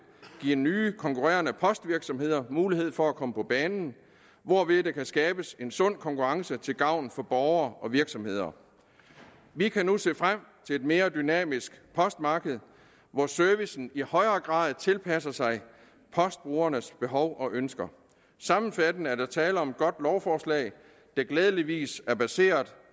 giver nye konkurrerende postvirksomheder mulighed for at komme på banen hvorved der kan skabes en sund konkurrence til gavn for borgere og virksomheder vi kan nu se frem til et mere dynamisk postmarked hvor servicen i højere grad tilpasser sig postbrugernes behov og ønsker sammenfattende er der tale om et godt lovforslag der glædeligvis er baseret